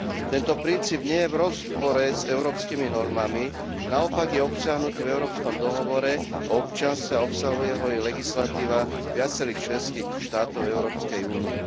Tento princíp nie je v rozpore s európskymi normami, naopak je obsiahnutý v Európskom dohovore o občianstve a obsahuje ho aj legislatíva viacerých členských štátov Európskej únie.